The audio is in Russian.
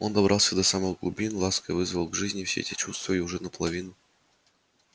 он добрался до самых глубин ласко вызвал к жизни все те чувства и уже наполовину